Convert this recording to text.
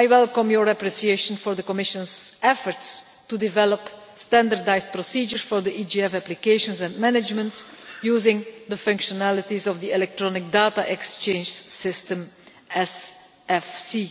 I welcome your appreciation for the Commission's efforts to develop standardised procedures for the EGF applications and management using the functionalities of the electronic data exchange system, SFC.